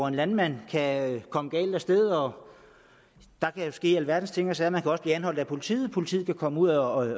en landmand kan komme galt af sted og der kan jo ske alverdens ting og sager man kan også blive anholdt af politiet politiet kan komme ud og